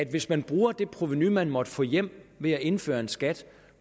hvis man bruger det provenu man måtte få hjem ved at indføre en skat